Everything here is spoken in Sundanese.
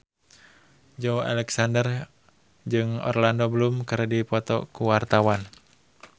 Joey Alexander jeung Orlando Bloom keur dipoto ku wartawan